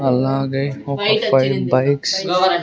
అలాగై ముప్పై బైక్స్ .